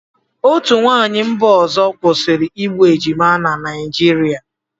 Otu nwaanyị mba ọzọ kwụsịrị igbu ejima na Naịjirịa.